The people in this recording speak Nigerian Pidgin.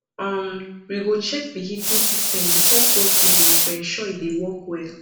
um we go check the heating system before cold season to ensure e dey work well